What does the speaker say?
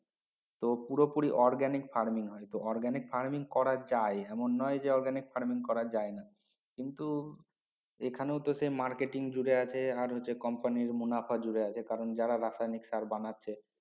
তো পুরো পুরি organic farming হয় তো organic farming করা যায় এমন নয় যে organic farming করা যায় না কিন্তু এখানেও তো marketing জুড়ে আছে আর হচ্ছে company মুনাফা জুড়ে আছে যারা রাসায়নিক সার বানাছে